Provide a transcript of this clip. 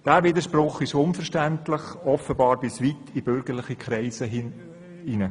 Dieser Widerspruch ist unverständlich – offenbar bis weit in bürgerliche Kreise hinein.